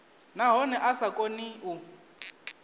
nahone a sa koni u